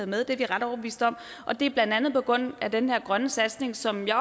med det er vi ret overbeviste om og det er blandt andet på grund af den her grønne satsning som jeg